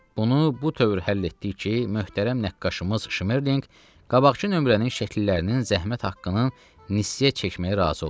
Bunu bu tövr həll etdik ki, möhtərəm nəqqaşımız Şmerlinq qabaqkı nömrənin şəkillərinin zəhmət haqqının nissiyə çəkməyə razı oldu.